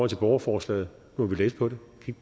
til borgerforslaget må vi læse på det